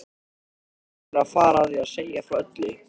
Hvernig ætlarðu að fara að því að segja frá öllu?